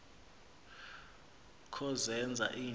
kho zenza nto